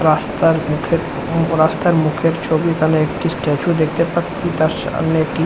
রাস্তার মুখের রাস্তার মুখের ছবি এখানে একটি স্ট্যাচু দেখতে পাচ্ছি তার সামনে একটি।